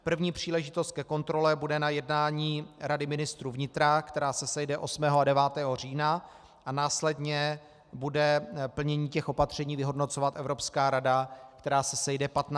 První příležitost ke kontrole bude na jednání Rady ministrů vnitra, která se sejde 8. a 9. října, a následně bude plnění těch opatření vyhodnocovat Evropská rada, která se sejde 15. a 16. října.